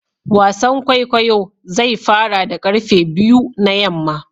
wasan kwaikwayo zai fara da karfe biyu na yamma